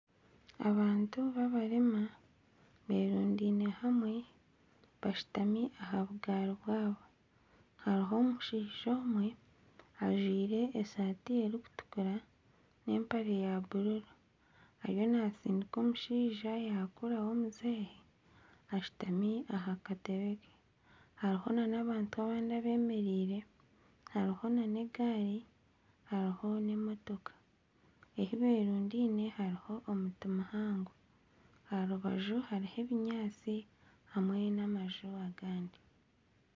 Abantu ba barema berundaine hamwe bashutami aha bugaari bwaabo hariho omushaija omwe ajwaire esaati erikutukura n'empare ya bururu ariyo natsindiika omushaija owa kuraho omuzeeyi ashutami omu kagaari ke hariho na n'abantu abandi abemereire hariho na n'egaari hariho n'emotooka, ahu berundaine hariho omuti muhango aha rubaju hariho ebinyaatsi hamwe n'amaju agandi.